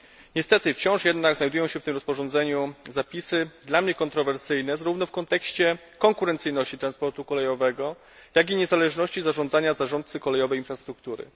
Niestety wciąż jednak znajdują się w tym rozporządzeniu zapisy dla mnie kontrowersyjne, zarówno w kontekście konkurencyjności transportu kolejowego, jak i niezależności zarządzenia zarządcy kolejowej struktury.